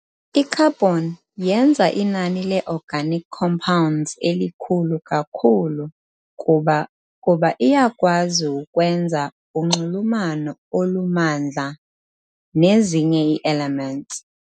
I-Carbon yenza inani leorganic compounds elikhulu kakhulu kuba kuba iyakwazi ukwenza unxulumano olumandla nezinye ii-elements.